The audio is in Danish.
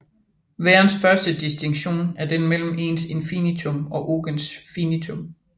Værens første distinktion er den mellem ens infinitum ogens finitum